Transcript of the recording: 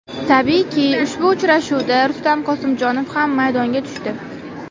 Tabiiyki, ushbu uchrashuvda Rustam Qosimjonov ham maydonga tushdi.